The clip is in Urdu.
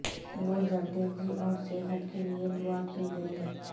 وہ زردیزی اور صحت کے لئے دعا کی گئیں